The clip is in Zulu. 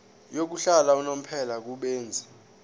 yokuhlala unomphela kubenzi